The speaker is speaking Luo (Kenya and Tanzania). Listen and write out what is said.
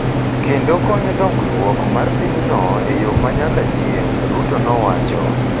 kendo konyo dongruok mar pinyno e yo ma nyaka chieng’, Ruto nowacho.